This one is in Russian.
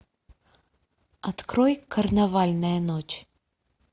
открой карнавальная ночь